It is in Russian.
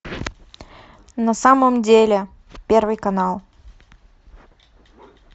на самом деле первый канал